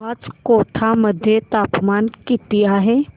आज कोटा मध्ये तापमान किती आहे